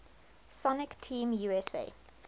sonic team usa